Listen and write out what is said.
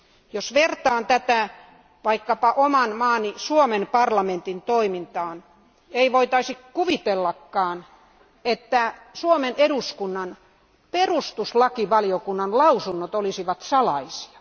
Jos vertaan tätä vaikkapa oman maani, Suomen parlamentin toimintaan, ei voitaisi kuvitellakaan, että Suomen eduskunnan perustuslakivaliokunnan lausunnot olisivat salaisia.